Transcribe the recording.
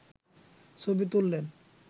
ছবি তুললেন